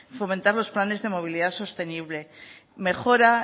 fomentamos planes de movilidad sostenible mejora